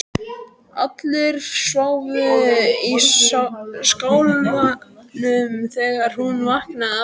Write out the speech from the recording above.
Allir sváfu í skálanum þegar hún vaknaði aftur.